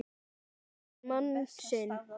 Hún lifir mann sinn.